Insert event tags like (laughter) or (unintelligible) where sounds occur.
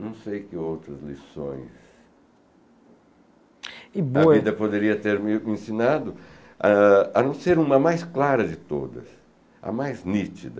Não sei que outras lições, e (unintelligible) a vida poderia ter me ensinado a não ser uma mais clara de todas, a mais nítida.